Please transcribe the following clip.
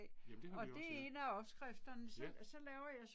Jamen det har vi også ja. Ja